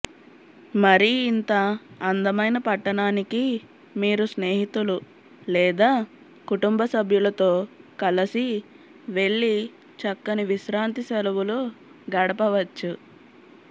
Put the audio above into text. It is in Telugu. మరి ఇంతఅందమైన పట్టణానికి మీరు స్నేహితులు లేదా కుటుంబ సభ్యులతో కలసి వెళ్లి చక్కని విశ్రాంతి సెలవులు గడపవచ్చు